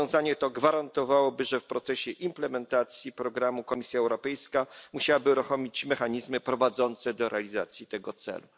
Rozwiązanie to gwarantowałoby, że w procesie implementacji programu Komisja Europejska musiałaby uruchomić mechanizmy prowadzące do realizacji tego celu.